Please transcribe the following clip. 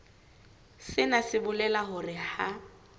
sena se bolela hore ha